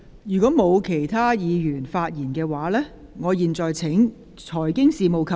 如果沒有其他議員想發言，我現在請財經事務及庫務局局長答辯。